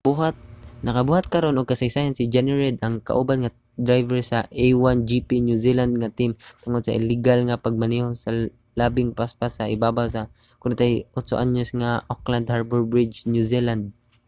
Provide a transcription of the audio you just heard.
nakabuhat karon og kasaysayan si jonny reid ang kauban nga driver sa a1gp new zealand nga team tungod sa ligal nga pagmaneho sa labing paspas sa ibabaw sa 48-anyos nga auckland harbor bridge new zealand